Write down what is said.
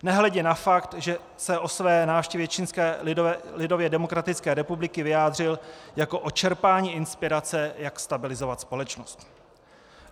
Nehledě na fakt, že se o své návštěvě Čínské lidově demokratické republiky vyjádřil jako o čerpání inspirace, jak stabilizovat společnost.